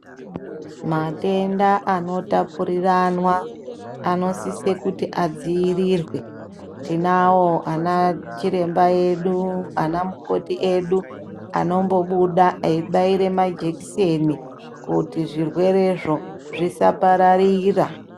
Matenda anotapuriranwa anosise kuti adziirirwe. Tinawo ana chiremba edu, anamukoti edu anombobuda eibaire majekiseni kuti zvirwerezvo zvisapararira.